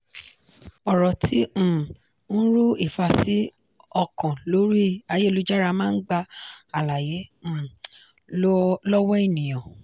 ọ̀rọ̀ tí um ń ru ìfàsí-ọkàn lórí ayélujára máa ń gba àlàyé um lọ́wọ́ ènìyàn.